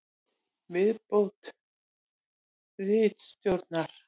Viðbót ritstjórnar: